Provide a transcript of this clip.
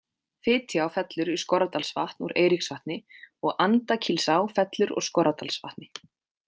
Fitjá fellur í Skorradalsvatn úr Eiríksvatni og Andakílsá fellur úr Skorradalsvatni.